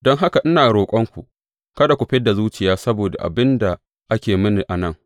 Don haka, ina roƙonku kada ku fid da zuciya saboda abin da ake yi mini a nan.